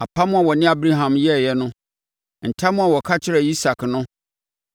apam a ɔne Abraham yɛeɛ no ntam a ɔka kyerɛɛ Isak no.